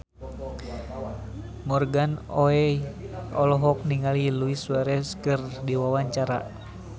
Morgan Oey olohok ningali Luis Suarez keur diwawancara